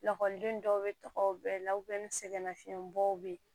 Lakɔliden dɔw bɛ tɔgɔw bɛɛ lawɛli sɛgɛlafiɲɛbɔ bɛ yen